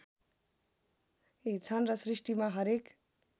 छन र सृष्टिमा हरेक